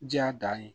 Diya dan ye